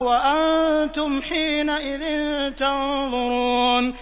وَأَنتُمْ حِينَئِذٍ تَنظُرُونَ